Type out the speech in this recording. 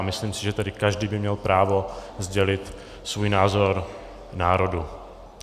A myslím si, že tady každý by měl právo sdělit svůj názor národu.